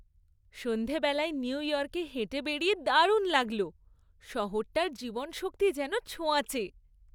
সন্ধেবেলায় নিউ ইয়র্কে হেঁটে বেড়িয়ে দারুণ লাগলো। শহরটার জীবনীশক্তি যেন ছোঁয়াচে।